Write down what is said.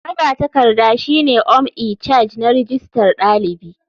Magatakarda shine ome icharge na rijistar dalibi.